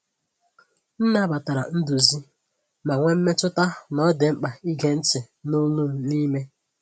M nabatara nduzi, ma nwee mmetụta na ọ dị mkpa ịge ntị n’olu m n’ime.